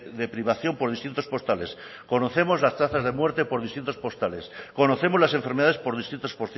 de privación por distritos postales conocemos las tasas de muerte por distritos postales conocemos las enfermedades por distritos